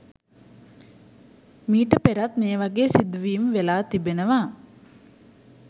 මීට පෙරත් මේවගේ සිදුවීම් වෙලා තිබෙනවා